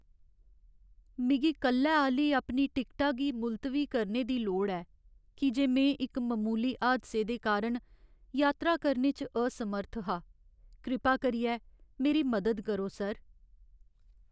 मिगी कल्लै आह्‌ली अपनी टिकटा गी मुलतवी करने दी लोड़ ऐ की जे में इक ममूली हादसे दे कारण यात्रा करने च असमर्थ हा। कृपा करियै, मेरी मदद करो सर।